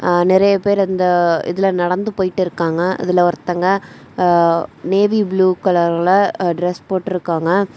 ஆநிறைய பேரு அந்த இதுல நடந்து போயிட்டு இருக்காங்க அதுல ஒருத்தங்க நேவி புளூ கலர்ல டிரஸ் போட்ருக்காங்க.